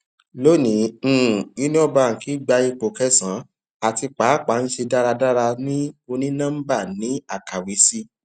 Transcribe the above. loni um union bank gba ipo kẹsànán ati paapaa n ṣe daradara ni oninọmba ni akawe si